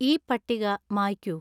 ഈ പട്ടിക മായ്ക്കൂ